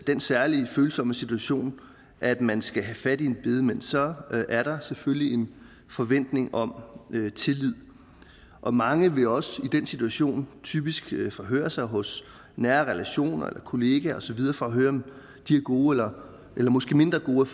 den særlig følsomme situation at man skal have fat i en bedemand så er der selvfølgelig en forventning om tillid og mange vil også i den situation typisk forhøre sig hos nære relationer kollegaer og så videre for at høre om de har gode eller måske mindre gode